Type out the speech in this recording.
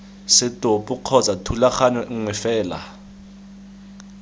setopo kgotsa thulaganyo nngwe fela